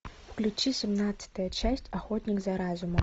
включи семнадцатая часть охотник за разумом